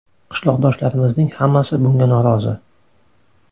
Qishloqdoshlarimizning hammasi bunga norozi.